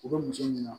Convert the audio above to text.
U bɛ muso ɲini